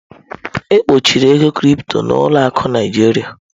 E gbochiri ego Crypto na ụlọ akụ Naịjiria.